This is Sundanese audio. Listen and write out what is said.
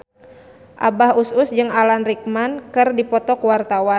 Abah Us Us jeung Alan Rickman keur dipoto ku wartawan